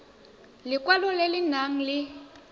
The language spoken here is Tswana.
lekwalo le le nang le